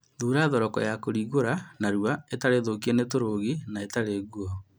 Thura thoroko ya kũringũra narua, ĩtarĩ thũkie nĩ tũrũgi na ĩtarĩ nguo